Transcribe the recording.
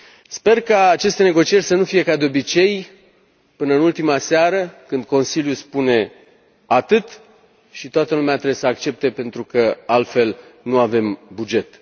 Sper ca aceste negocieri să nu fie, ca de obicei, până în ultima seară, când Consiliu spune atât și toată lumea trebuie să accepte, pentru că, altfel, nu avem buget.